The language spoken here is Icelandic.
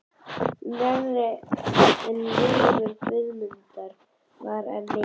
Knerri en vegur Guðmundar var þá enn mikill.